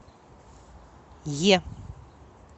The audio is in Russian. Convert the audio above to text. е